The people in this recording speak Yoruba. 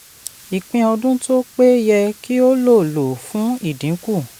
ìpín ọdún tó pé yẹ kí ó lò lò fún ìdínkù.